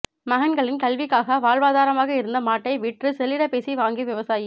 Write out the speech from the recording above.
மகன்களின் கல்விக்காக வாழ்வாதாரமாக இருந்த மாட்டை விற்று செல்லிடப்பேசி வாங்கிய விவசாயி